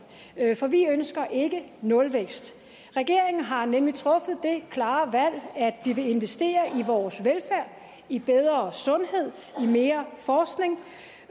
for vi ønsker ikke nulvækst regeringen har nemlig truffet det klare valg at vi vil investere i vores velfærd i bedre sundhed i mere forskning